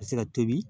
Ka se ka tobi